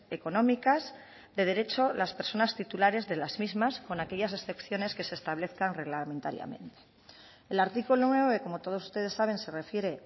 económicas de derecho las personas titulares de las mismas con aquellas excepciones que se establezcan reglamentariamente el artículo nueve como todos ustedes saben se refiere